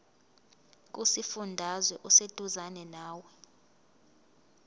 kusifundazwe oseduzane nawe